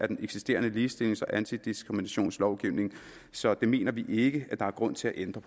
den eksisterende ligestillings og antidiskriminationslovgivning så det mener vi vi ikke der er grund til at ændre